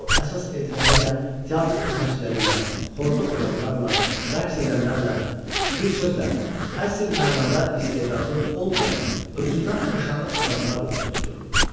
O əsas etibarilə teatr xidmətçiləri ilə, xorda oxuyanlarla, rəqs edənlərlə, bir sözlə, əsl mənada istedadlı olmayan özündən aşağı adamlarla oturub dururdu.